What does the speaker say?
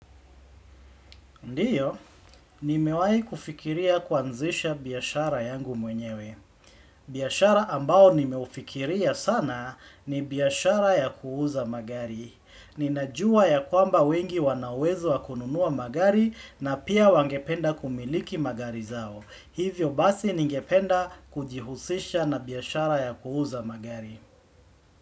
Ndiyo, nimewahi kufikiria kuanzisha biashara yangu mwenyewe. Biashara ambao nimeufikiria sana ni biashara ya kuuza magari. Ninajua ya kwamba wengi wanauwezo wakununua magari na pia wangependa kumiliki magari zao. Hivyo basi ningependa kujihusisha na biashara ya kuuza magari.